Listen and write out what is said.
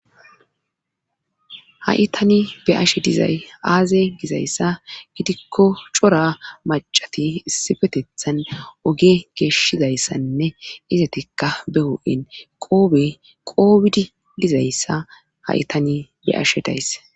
haitani be ashe dayaaze dizayssa gidikko cora macati isifetethan oge geeshshizayssanne izatikka be ho7en qoobe qoobidi dizayssa ha7itani be ashe daysse